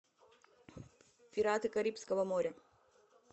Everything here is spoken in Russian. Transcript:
пираты карибского моря